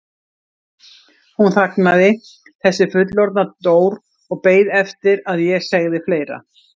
Hún þagnaði, þessi fullorðna Dór og beið eftir að ég segði fleira.